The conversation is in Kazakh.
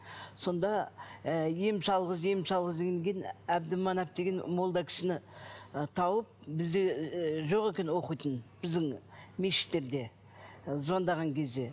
сонда ы ем салғыз ем салғыз дегеннен кейін әбдіманап деген молда кісіні ы тауып бізде ыыы жоқ екен оқитын біздің мешіттерде ы звондаған кезде